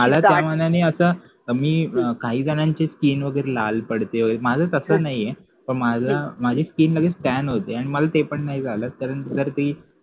मला त्या मानाने आता मी काही जणांची skin वैगरे लाल पडते माझं तसा नाही आहे तर माझं माझी skin नवी scan होते आणि मला ते पण नाय झाल पण जर ते